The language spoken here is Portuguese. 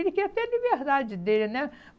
Ele queria ter a liberdade dele, né?